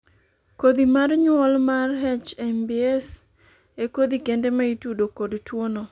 kodhi mar nyuol mar HMBS e kodhi kende ma itudo kod tuono